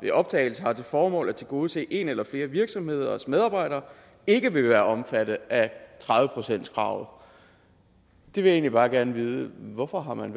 ved optagelse har til formål at tilgodese en eller flere virksomheders medarbejdere ikke vil være omfattet af tredive procentskravet jeg vil egentlig bare gerne vide hvorfor man